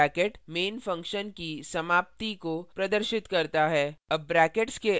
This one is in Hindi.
closing curly bracket main function की समाप्ति को प्रदर्शित करता है